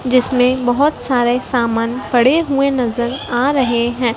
जिसमें बहोत सारे सामान पड़े हुए और नजर आ रहे हैं।